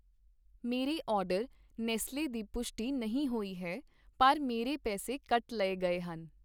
ਮੇਰੇ order Nestle ਦੀ ਪੁਸ਼ਟੀ ਨਹੀਂ ਹੋਈ ਹੈ ਪਰ ਮੇਰੇ ਪੈਸੇ ਕੱਟ ਲਏ ਗਏ ਹਨ